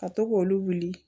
Ka to k'olu wuli